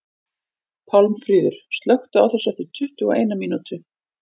Pálmfríður, slökktu á þessu eftir tuttugu og eina mínútur.